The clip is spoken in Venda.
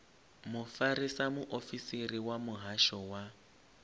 mufarisa muofisiri wa muhasho wa